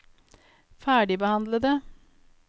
ferdigbehandlede